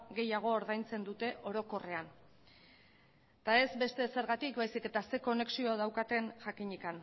gehiago ordaintzen dute orokorrean eta ez beste ezergatik baizik eta zer konexio daukaten jakinik